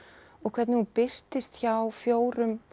og hvernig hún birtist hjá fjórum